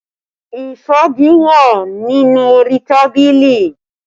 Ìfági wà nínú orí tábìlì